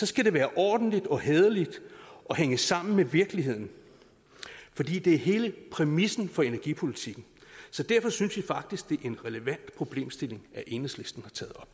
skal det være ordentligt og hæderligt og hænge sammen med virkeligheden fordi det er hele præmissen for energipolitikken så derfor synes vi faktisk at det er en relevant problemstilling enhedslisten